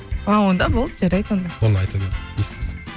а онда болды жарайды онда